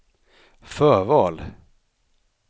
förval